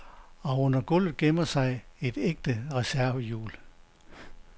Og under gulvet gemmer sig et ægte reservehjul.